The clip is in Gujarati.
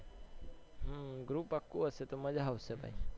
હમ્મ group આખું હશે તો મજ્જા આવશે તઈ